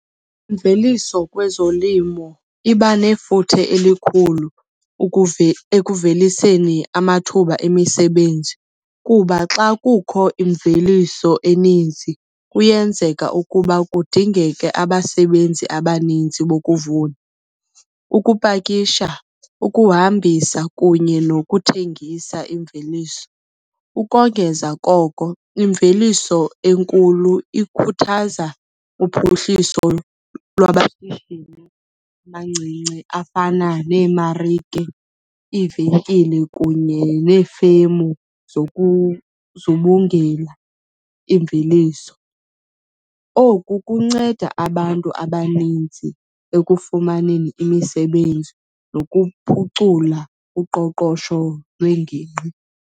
Imveliso kwezolimo iba nefuthe elikhulu ekuveliseni amathuba emisebenzi kuba xa kukho imveliso eninzi, kuyenzeka ukuba kudingeke abasebenzi abaninzi bokuvuna, ukupakisha, ukuhambisa kunye nokuthengisa imveliso. Ukongeza koko, imveliso enkulu ikhuthaza uphuhliso lwamashishini amancinci afana neemarike, iivenkile kunye nefemu imveliso. Oku kunceda abantu abaninzi ekufumaneni imisebenzi nokuphucula uqoqosho lwengingqi.